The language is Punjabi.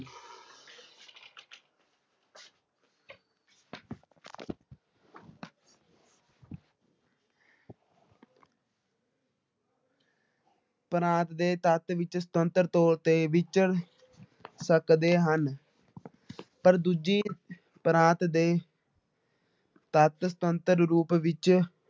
ਪ੍ਰਾਂਤ ਦੇ ਤੱਤ ਵਿੱਚ ਸੁਤੰਤਰ ਤੌਰ ਤੇ ਵਿਚਰ ਸਕਦੇ ਹਨ ਪਰ ਦੂਜੀ ਪ੍ਰਾਂਤ ਦੇ ਤੱਤ ਸੁਤੰਤਰ ਰੂਪ ਵਿੱਚ